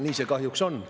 Nii see kahjuks on.